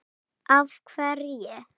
Af hverju?